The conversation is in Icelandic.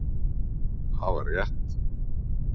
Hafa rétt